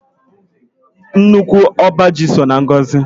Nnukwu ọba ji so na ngọzị